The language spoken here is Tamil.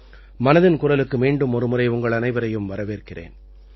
மனதின் குரலுக்கு மீண்டும் ஒருமுறை உங்கள் அனைவரையும் வரவேற்கிறேன்